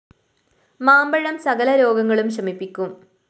മാമ്പഴം സകല രോഗങ്ങളും ശമിപ്പിക്കും